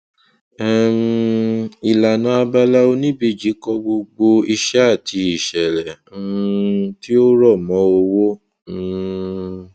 um ìlànà abala oníbejì kọ gbogbo ìṣe àti ìṣẹlẹ um tí ó rọ mọ owó um